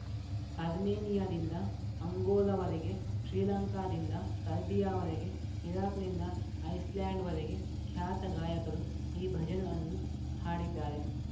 ಅರ್ಮೇನಿಯಾದಿಂದ ಅಂಗೋಲಾವರೆಗೆ ಶ್ರೀಲಂಕಾದಿಂದ ಸರ್ಬಿಯಾವರೆಗೆ ಇರಾಕ್‌ನಿಂದ ಐಸ್‌ಲ್ಯಾಂಡ್‌ವರೆಗೆ ಖ್ಯಾತ ಗಾಯಕರು ಈ ಭಜನ್‌ ಅನ್ನು ಹಾಡಿದ್ದಾರೆ